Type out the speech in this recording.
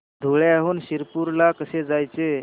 धुळ्याहून शिरपूर ला कसे जायचे